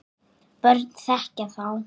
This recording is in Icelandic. börn þekkja þá.